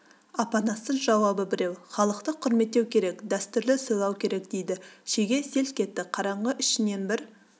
апанастың жауабы біреу халықты құрметтеу керек дәстүрді сыйлау керек дейді шеге селк етті қараңғы ішінен бір